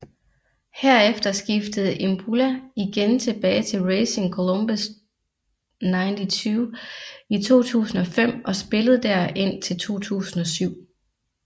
Herefter skiftede Imbula igen tilbage til Racing Colombes 92 i 2005 og spillede der indtil 2007